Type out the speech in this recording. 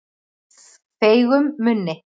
Feigum munni